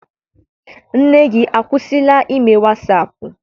Nne gị akwụsila ime wasaapụ?